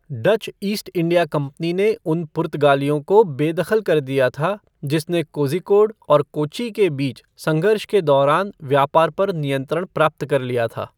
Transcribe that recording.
Dutch East India Company ने उन पुर्तगालियों को बेदखल कर दिया था जिसने कोझिकोड और कोच्चि के बीच संघर्ष के दौरान व्यापार पर नियंत्रण प्राप्त कर लिया था।